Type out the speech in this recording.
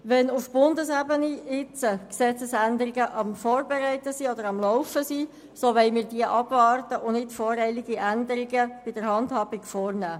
Wenn auf Bundesebene Gesetzesänderungen am Laufen sind, so wollen wir diese abwarten und nicht voreilige Änderungen an der Handhabung vornehmen.